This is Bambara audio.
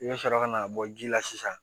I bɛ sɔrɔ ka na bɔ ji la sisan